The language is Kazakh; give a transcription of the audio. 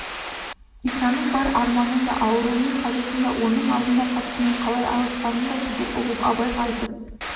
исаның бар арманын да ауруы мен қазасын да оның аллында қасқырмен қалай алысқанын да түгел ұғып абайға айтып